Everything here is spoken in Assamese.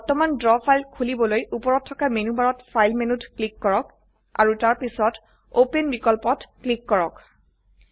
এটা বৰ্তমানৰ ড্ৰ ফাইল খোলিবলৈ উপৰত থকা মেনু বাৰত ফাইল মেনুত ক্লিক কৰক আৰু তাৰ পিছত ওপেন বিকল্পত ক্লিক কৰক